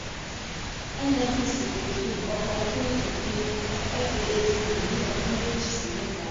nnpc kò fi nkankan kun ipin faac ni ọdún méjì sí mẹta.